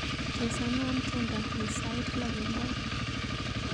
Chesanwon tyendo ni sait loo kemboi